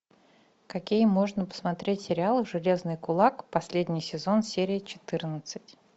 какие можно посмотреть сериалы железный кулак последний сезон серия четырнадцать